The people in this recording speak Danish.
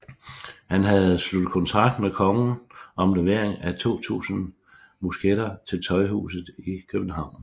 Han havde sluttet kontrakt med kongen om levering af 2000 musketter til Tøjhuset i Købehavn